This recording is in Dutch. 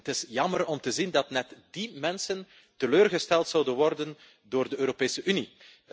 Het is jammer om te zien dat net die mensen teleurgesteld zouden worden door de Europese Unie.